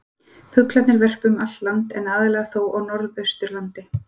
Fuglarnir verpa um allt land en aðallega þó á norðausturlandi.